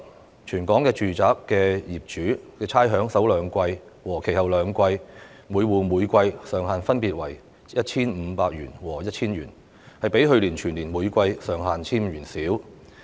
在全港住宅的首兩季及其後兩季差餉方面，每戶每季上限分別為 1,500 元和 1,000 元，較去年全年每季上限 1,500 元少。